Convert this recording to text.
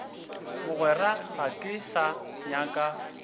mogwera ga ke sa nyaka